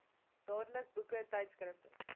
dadelik boeke tydskrifte